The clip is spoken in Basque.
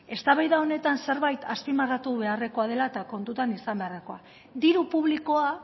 eztabaida honetan zerbait azpimarratu beharrekoa dela eta kontutan izan beharrekoa diru publikoa